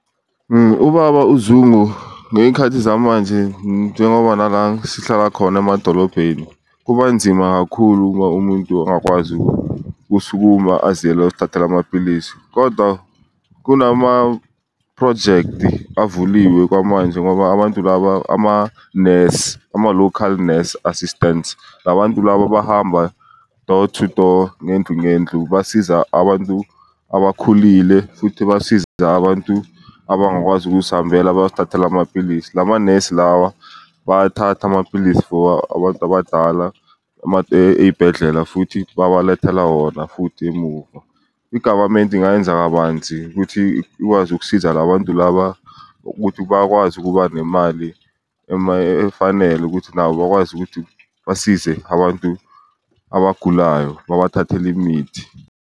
Ubaba uZungu ngey'khathi zamanje njengoba nala sihlala khona emadolobheni kuba nzima kakhulu uma umuntu angakwazi ukusukuma aziyele uyozithathela amapilisi. Kodwa kunamaphrojekthi avuliwe kwamanje ngoba abantu laba amanesi ama-local nurse assistants la bantu laba bahamba door-to-door ngendlu ngendlu, basiza abantu abakhulile futhi basiza abantu abangakwazi ukuzihambela bayozithathela amapilisi. La manesi lawa bayathatha amapilisi for abantu abadala ey'bhedlela futhi babalethela wona futhi emuva. I-government ingayenza kabanzi ukuthi ikwazi ukusiza la bantu laba. Ukuthi bakwazi ukuba nemali efanele ukuthi nabo bakwazi ukuthi basize abantu abagulayo babathathele imithi.